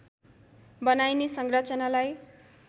बनाइने संरचनालाई